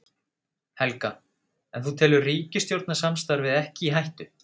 Helga: En þú telur ríkisstjórnarsamstarfið ekki í hættu?